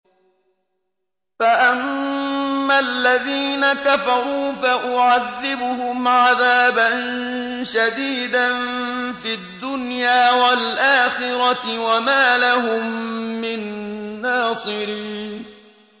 فَأَمَّا الَّذِينَ كَفَرُوا فَأُعَذِّبُهُمْ عَذَابًا شَدِيدًا فِي الدُّنْيَا وَالْآخِرَةِ وَمَا لَهُم مِّن نَّاصِرِينَ